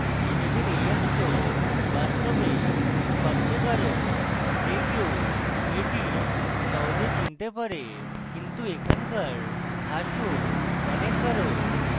ইমেজের এই অংশ বাস্তবে সবচেয়ে গাঢ় যে কেউ এটি সহজে চিনতে পারে কিন্তু এখানকার grass of অনেক গাঢ়